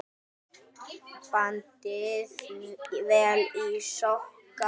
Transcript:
Bandið vel í sokka.